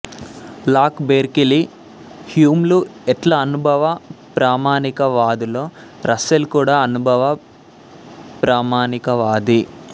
lock Berkeley హ్యూంలు ఎట్లా అనుభవ ప్రామాణిక వాదులో రస్సెల్ కూడా అనుభవ ప్రామాణికవాది